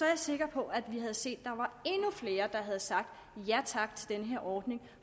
jeg sikker på at vi havde set at flere der havde sagt ja tak til den her ordning